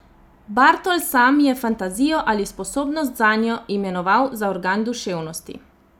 Bartol sam je fantazijo ali sposobnost zanjo imenoval za organ duševnosti.